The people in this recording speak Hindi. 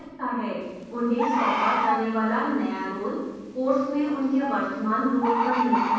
उन्हें सौंपा जाने वाला नया role course में उनके वर्तमान role पर निर्भर करता है